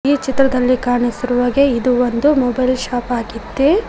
ಈ ಚಿತ್ರದಲ್ಲಿ ಕಾಣಿಸಿರುವ ಹಾಗೆ ಇದು ಒಂದು ಮೊಬೈಲ್ ಶಾಪ್ ಆಗಿದೆ.